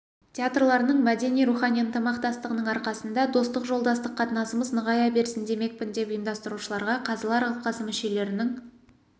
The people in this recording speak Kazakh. театрларының мәдени-рухани ынтымақтастығының арқасында достық жолдастық қатынасымыз нығая берсін демекпін деп ұйымдастырушыларға қазылар алқасы мүшелерінің